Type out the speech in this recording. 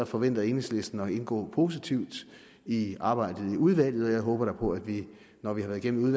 forventer enhedslisten at indgå positivt i arbejdet i udvalget og jeg håber da på at vi når vi har været igennem